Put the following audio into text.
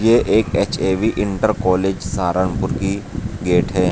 ये एक H A V inter college Saharanpur की गेट है।